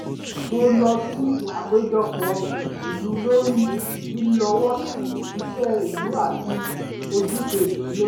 mo lọ sí àpéjọpọ̀ ìlú lórí lílọ́wọ́sí iṣẹ́ ìlú àti ojúṣe ìṣúná